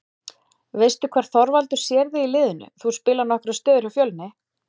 Veistu hvar Þorvaldur sér þig í liðinu, þú spilaðir nokkrar stöður hjá Fjölni?